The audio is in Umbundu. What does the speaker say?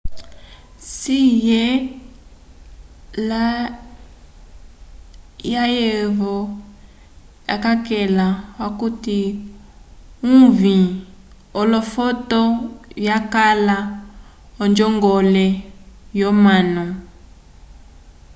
hsieh layevo wayakela okuti uvĩ wolofoto yakala onjongole yomanu